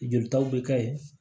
Jolitaw bɛ kɛ yen